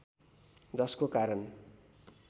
जसको कारण